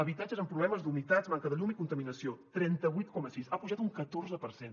habitatges amb problemes d’humitats manca de llum i contaminació trenta vuit coma sis ha pujat un catorze per cent